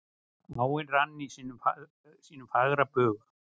Áin rann í sínum fagra bug.